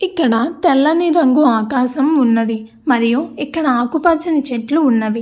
ఇక్కడ తెల్లని రంగు ఆకాశం ఉన్నది మరియు ఇక్కడ ఆకుపచ్చని చెట్లు ఉన్నవి.